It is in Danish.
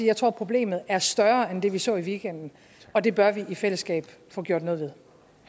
jeg tror at problemet er større end det vi så i weekenden og det bør vi i fællesskab få gjort noget